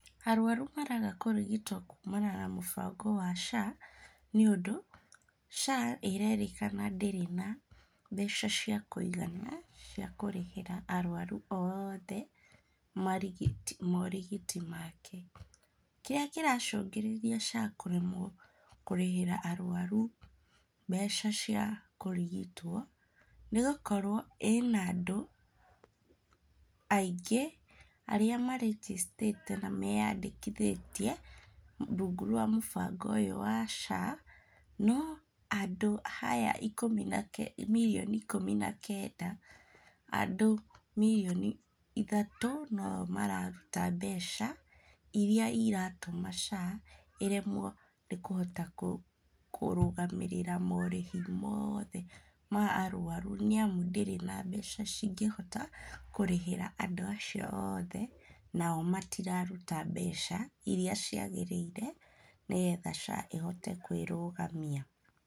Arwaru maraga kũrigitwo kumana na mũbango wa SHA nĩũndũ, SHA ĩrerĩkana ndĩrĩ na mbeca cia kũigana cia kũrĩhĩra arwaru oothe morigiti make. Kĩrĩa kĩracũngĩrĩria SHA kũremwo kũrĩhĩra arwaru mbeca cia kũrigitwo nĩ gũkorwo ĩna andũ aingĩ arĩa marĩgĩstĩte na meyandĩkithĩtie rungu rwa mũbango ũyũ wa SHA, no andũ aya ikũmi na kenda mirioni ikũmi na kenda, andũ mirioni ithatũ no o mararuta mbeca iria iratũma SHA ĩremwo nĩ kũhota kũrũgamĩrĩra morĩhi moothe ma arwaru, nĩamu ndĩrĩ na mbeca cingĩhota kũrĩhĩra andũ acio othe nao matiraruta mbeca iria ciagĩrĩire nĩgetha SHA ĩhote kwĩrũgamia.